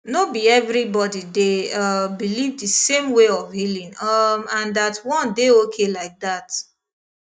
no be everybody dey um believe the same way for healing um and that one dey okay like that